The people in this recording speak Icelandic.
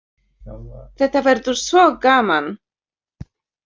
Þetta verður svo gaman.